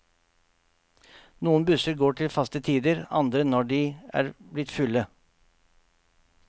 Noen busser går til faste tider, andre når de er blitt fulle.